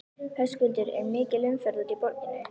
Höskuldur er mikil umferð út úr borginni?